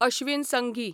Ashwin Sanghi